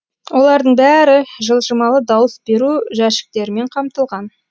олардың бәрі жылжымалы дауыс беру жәшіктерімен қамтылған